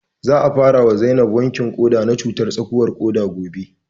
Za a fara wa Zainab wankin ƙoda na cutar tsakuwar ƙuda gobe